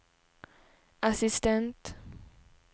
assistent